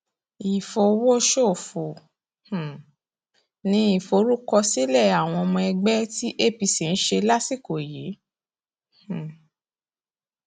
ìfọwọsòfò um ni ìforúkọsílẹ àwọn ọmọ ẹgbẹ tí apc ń ṣe lásìkò yìí um